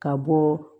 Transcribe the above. Ka bɔ